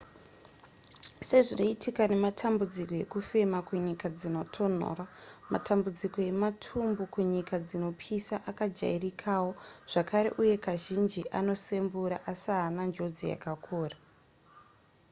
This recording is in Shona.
sezvinoitika nematambudziko ekufema kunyika dzinotonhora matambidzuko ematumbu kunyika dzinopisa akajairikawo zvakare uye kazhinji anosembura asi haana njodzi yakakura